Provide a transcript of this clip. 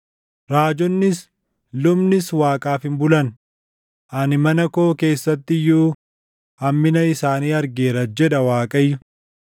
“Raajonnis, lubnis Waaqaaf hin bulan; ani mana koo keessatti iyyuu hammina isaanii argeera” jedha Waaqayyo.